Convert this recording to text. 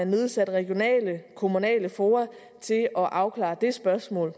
nedsat regionale og kommunale fora til at afklare det spørgsmål